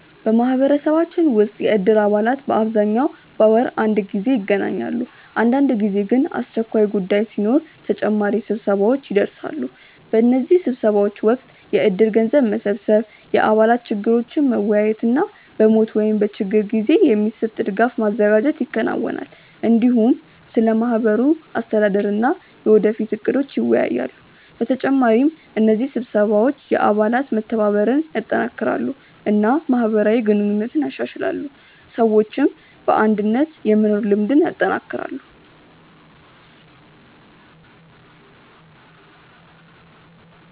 በማህበረሰባችን ውስጥ የእድር አባላት በአብዛኛው በወር አንድ ጊዜ ይገናኛሉ። አንዳንድ ጊዜ ግን አስቸኳይ ጉዳይ ሲኖር ተጨማሪ ስብሰባዎች ይደርሳሉ። በእነዚህ ስብሰባዎች ወቅት የእድር ገንዘብ መሰብሰብ፣ የአባላት ችግሮችን መወያየት እና በሞት ወይም በችግር ጊዜ የሚሰጥ ድጋፍ ማዘጋጀት ይከናወናል። እንዲሁም ስለ ማህበሩ አስተዳደር እና የወደፊት እቅዶች ይወያያሉ። በተጨማሪ እነዚህ ስብሰባዎች የአባላት መተባበርን ያጠናክራሉ እና ማህበራዊ ግንኙነትን ያሻሽላሉ፣ ሰዎችም በአንድነት የመኖር ልምድ ያጠናክራሉ።